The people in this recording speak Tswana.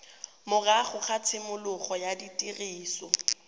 morago ga tshimologo ya tiriso